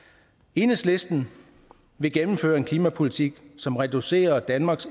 enhedslisten vil gennemføre en klimapolitik som reducerer danmarks